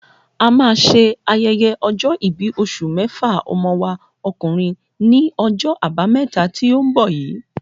A ma ṣe ayẹyẹ ọjọ́-ìbí oṣù méfà ọmọ wa ọkùnrin ní ojó àbámẹ́ta tí o nbọ yìí